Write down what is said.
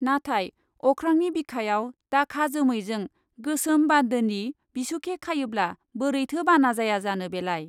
नाथाय अख्रांनि बिखायाव दाखा जोमैजों गोसोम बान्दोनि बिसुखे खायोब्ला बोरैथो बाना जाया जानो बेलाय ?